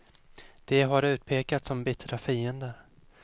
De har utpekats som bittra fiender.